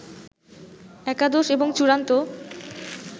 একাদশ এবং চূড়ান্ত